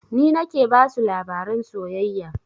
Ni nake basu labaran soyayya